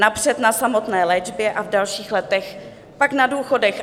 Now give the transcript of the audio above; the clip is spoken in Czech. Napřed na samotné léčbě a v dalších letech pak na důchodech